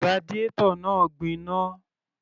Radiator náà gbiná